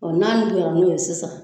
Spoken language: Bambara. Ɔ n'a nuguyara n'o ye sisan